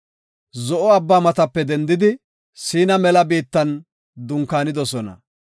Zo7o Abbaa matape dendidi Siina mela biittan dunkaanidosona.